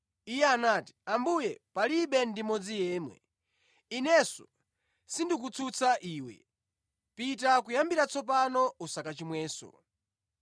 Iye anati, “Ambuye, palibe ndi mmodzi yemwe.” “Inenso sindikukutsutsa iwe. Pita kuyambira tsopano usakachimwenso.”